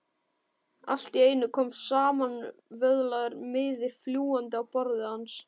Allt í einu kom samanvöðlaður miði fljúgandi á borðið hans.